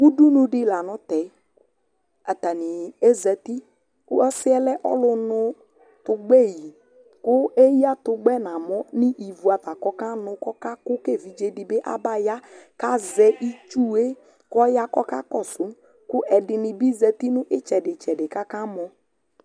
ʋdʋnʋ di lanʋ tɛ, atani azati kʋ ɔsiiɛ lɛ ɔlʋ nʋ tʋgbɛ yi kʋ ɛya tʋgbɛ mʋa nʋivʋ aɣa kʋ ɔka nʋ kʋ ɔkakʋ ka ɛvidzɛ dibi aba ya ka azɛ itsʋɛ kʋ ɔya kʋɔkakɔsʋ kʋ ɛdinibi zati nʋ itsɛdi itsɛdi kʋ akamɔ